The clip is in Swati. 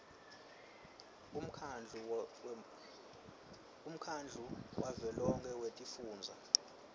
umkhandlu wavelonkhe wetifundza